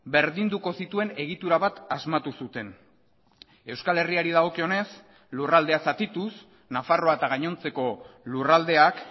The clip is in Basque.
berdinduko zituen egitura bat asmatu zuten euskal herriari dagokionez lurraldea zatituz nafarroa eta gainontzeko lurraldeak